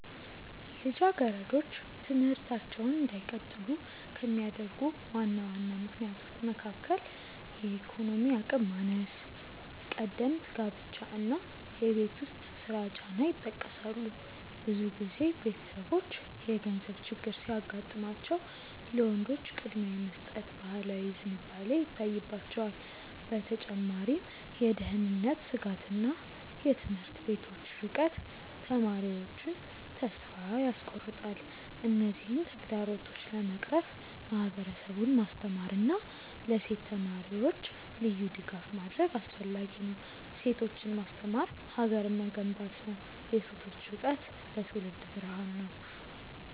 ልጃገረዶች ትምህርታቸውን እንዳይቀጥሉ ከሚያደርጉ ዋና ዋና ምክንያቶች መካከል የኢኮኖሚ አቅም ማነስ፣ ቀደምት ጋብቻ እና የቤት ውስጥ ስራ ጫና ይጠቀሳሉ። ብዙ ጊዜ ቤተሰቦች የገንዘብ ችግር ሲያጋጥማቸው ለወንዶች ቅድሚያ የመስጠት ባህላዊ ዝንባሌ ይታይባቸዋል። በተጨማሪም የደህንነት ስጋትና የትምህርት ቤቶች ርቀት ተማሪዎቹን ተስፋ ያስቆርጣል። እነዚህን ተግዳሮቶች ለመቅረፍ ማህበረሰቡን ማስተማርና ለሴት ተማሪዎች ልዩ ድጋፍ ማድረግ አስፈላጊ ነው። ሴቶችን ማስተማር ሀገርን መገንባት ነው። የሴቶች እውቀት ለትውልድ ብርሃን ነው።